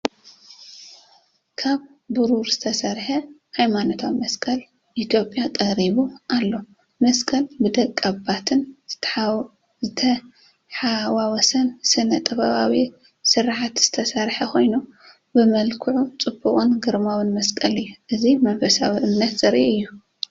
ካብ ብሩር ዝተሰርሐ ሃይማኖታዊ መስቀል ኢትዮጵያ ተቐሪቡ ኣሎ። መስቀል ብደቀባትን ዝተሓዋወሰን ስነ-ጥበባዊ ስርሓት ዝተሰርሐ ኮይኑ፡ ብመልክዑ ጽቡቕን ግርማዊን መስቀል እዩ፡፡ እዚ መንፈሳዊ እምነትን ዘርኢ እዩ።